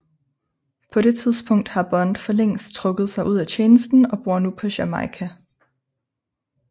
På det tidspunkt har Bond for længst trukket sig ud af tjenesten og bor nu på Jamaica